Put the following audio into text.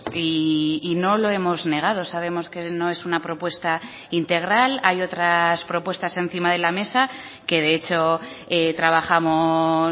y no lo hemos negado sabemos que no es una propuesta integral hay otras propuestas encima de la mesa que de hecho trabajamos